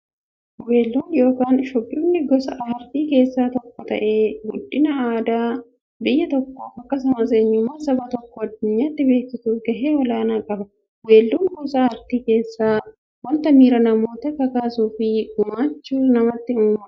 Weelluun yookin shubbifni gosa aartii keessaa tokko ta'ee, guddina aadaa biyya tokkoof akkasumas eenyummaa saba tokkoo addunyyaatti beeksisuuf gahee olaanaa qaba. Weelluun gosa artii keessaa wanta miira namootaa kakaasuufi gammachuu namatti uumudha.